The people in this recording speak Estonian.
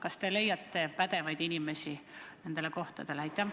Kas te leiate pädevaid inimesi nendele kohtadele?